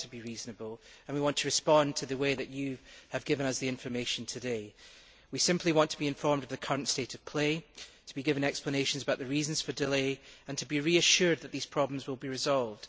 We want to be reasonable, and we want to respond to the way in which you have given us the information today. We simply want to be informed of the current state of play, to be given explanations about the reasons for the delay, and to be reassured that these problems will be resolved.